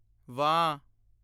ਵਾਂ